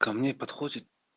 ко мне подходит